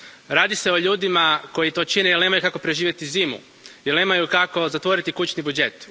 Radi se o ljudima koji to čine jer nemaju kako preživjeti zimu, jer nemaju kako zatvoriti kućni budžet.